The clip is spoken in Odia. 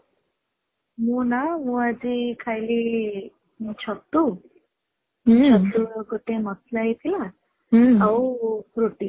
ମୁଁ ନା, ମୁଁ ଆଜି ଖାଇଲି ଛତୁଛତୁ ଗୋଟେ ମସଲା ହେଇଥିଲା ଆଉ ରୁଟି